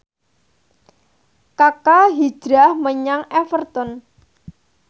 Kaka hijrah menyang Everton